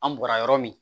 An bɔra yɔrɔ min